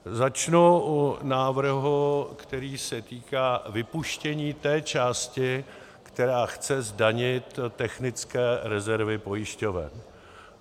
Začnu u návrhu, který se týká vypuštění té části, která chce zdanit technické rezervy pojišťoven.